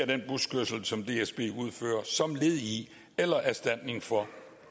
den buskørsel som dsb udfører som led i eller erstatning for